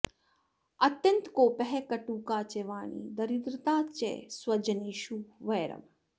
अत्यन्त कोपः कटुका च वाणी दरिद्रता च स्वजनेषु वैरम्